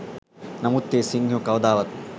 නමුත් ඒ සිංහයෝ කවදාවත්ම